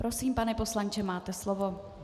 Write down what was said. Prosím, pane poslanče, máte slovo.